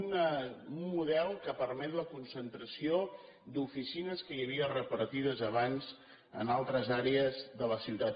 un model que permet la concentració d’oficines que hi havia repartides abans en altres àrees de la ciutat